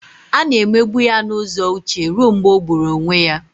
A na-emegbu ya n'ụzọ uche ruo mgbe ọ gburu onwe ya